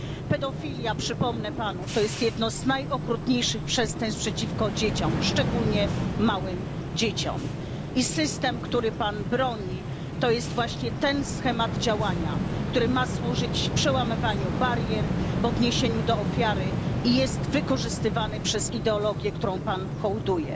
Pedofilia, przypomnę panu, to jest jedno z najokrutniejszych przestępstw przeciwko dzieciom, szczególnie małym dzieciom, i system, którego pan broni, to jest właśnie ten schemat działania, który ma służyć przełamywaniu barier w odniesieniu do ofiary i jest wykorzystywany przez ideologię, której pan hołduje.